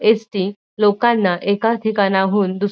ST लोकांना एका ठिकाणाहून दुस --